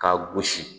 K'a gosi